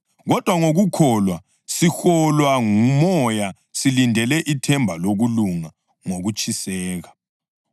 Kodwa ngokukholwa siholwa nguMoya silindele ithemba lokulunga ngokutshiseka.